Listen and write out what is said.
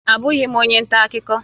Abụghị m onye nta akụkọ